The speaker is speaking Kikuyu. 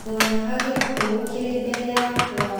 Ndonaga gĩkuũ kĩrĩ mbere yakwa.